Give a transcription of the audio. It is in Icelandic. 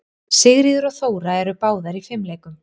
Sigríður og Þóra eru báðar í fimleikum.